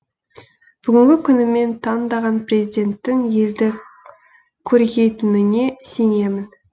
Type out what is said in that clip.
бүгінгі күні мен таңдаған президенттің елді көркейтініне сенемін